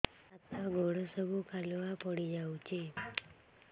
ହାତ ଗୋଡ ସବୁ କାଲୁଆ ପଡି ଯାଉଛି